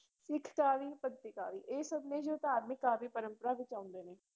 ਸਿੱਖ ਕਾਵਿ, ਭਗਤੀ ਕਾਵਿ, ਇਹ ਸਭ ਨੇ ਜੋ ਧਾਰਮਿਕ ਕਾਵਿ ਪਰੰਪਰਾ ਵਿੱਚ ਆਉਂਦੇ ਨੇ।